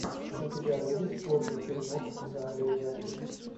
у тебя будет годный фильмок в жанре ужастик